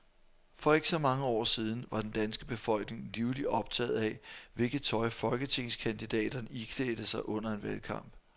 For ikke så mange år siden var den danske befolkning livligt optaget af, hvilket tøj folketingskandidaterne iklædte sig under en valgkamp.